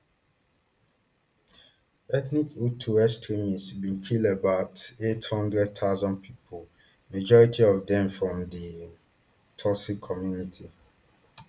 ethnic hutu extremists bin kill about eight hundred thousand pipo majority of dem from di um tutsi community